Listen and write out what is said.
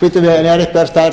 bíddu en er einhver staður þar sem við viljum skera niður